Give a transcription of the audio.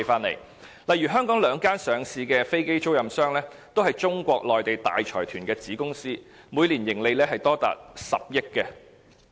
例如香港兩間上市的飛機租賃商，也是中國內地大財團的子公司，每年盈利高達10億元。